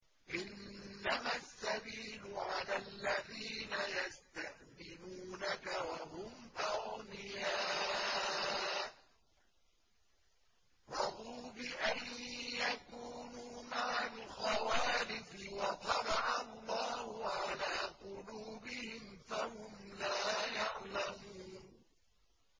۞ إِنَّمَا السَّبِيلُ عَلَى الَّذِينَ يَسْتَأْذِنُونَكَ وَهُمْ أَغْنِيَاءُ ۚ رَضُوا بِأَن يَكُونُوا مَعَ الْخَوَالِفِ وَطَبَعَ اللَّهُ عَلَىٰ قُلُوبِهِمْ فَهُمْ لَا يَعْلَمُونَ